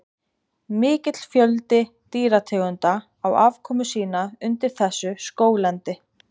Mikill fjöldi dýrategunda á afkomu sína undir þessu skóglendi.